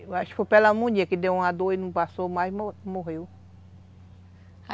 Eu acho que foi pneumonia que deu uma dor e não passou mais, mo morreu.